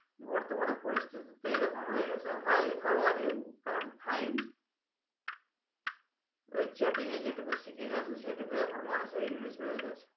বর্তমানে পরিস্থিতিতে এরকম হয়ে গেছে hi, how are you? I am fine ওই chatting এ যেটুকু শিখে গেছে সেটুকুই এখন মানুষের english হয়ে গেছে